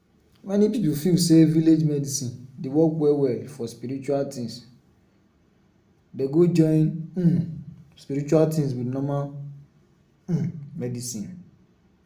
many people feel say village medicine de work well for spiritual things dey go join um spiritual things with normal um medicine